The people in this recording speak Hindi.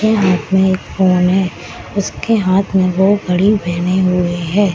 के हाथ में एक फ़ोन है उसके हाथ मे वो घड़ी पहने हुए है।